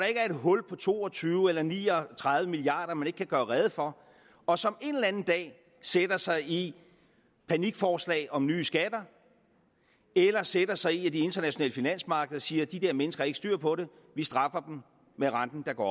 ikke er et hul på to og tyve eller ni og tredive milliard kr man ikke kan gøre rede for og som en eller anden dag sætter sig i panikforslag om nye skatter eller sætter sig i at de internationale finansmarkeder siger de der mennesker har ikke styr på det vi straffer dem med at renten går